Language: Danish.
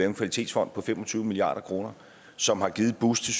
en kvalitetsfond på fem og tyve milliard kr som har givet et boost til